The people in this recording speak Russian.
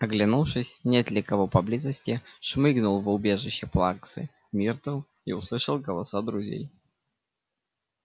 оглянувшись нет ли кого поблизости шмыгнул в убежище плаксы миртл и услышал голоса друзей